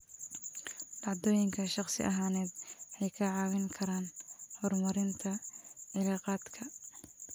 Dhacdooyinka shakhsi ahaaneed waxay kaa caawin karaan horumarinta cilaaqaadka.